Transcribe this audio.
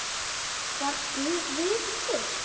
Var Guð til?